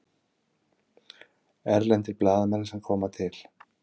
Erlendir blaðamenn sem koma til